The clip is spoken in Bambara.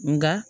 Nga